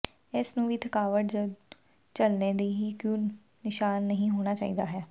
ਇਸ ਨੂੰ ਵੀ ਥਕਾਵਟ ਜ ਝੱਲਣੇ ਦੇ ਹੀ ਕੁ ਨਿਸ਼ਾਨ ਨਹੀ ਹੋਣਾ ਚਾਹੀਦਾ ਹੈ